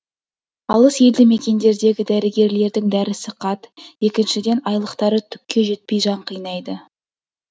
алыс елді мекендердегі дәрігерлердің дәрісі қат екіншіден айлықтары түкке жетпей жан қинайды